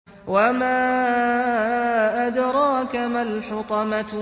وَمَا أَدْرَاكَ مَا الْحُطَمَةُ